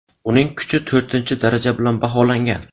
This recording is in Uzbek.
Uning kuchi to‘rtinchi daraja bilan baholangan.